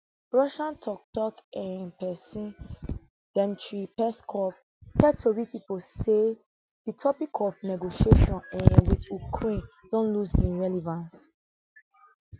russia toktok um pesin dmitry peskov tell tori pipo say di topic of negotiations um wit ukraine don lose im relevance